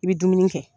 I bɛ dumuni kɛ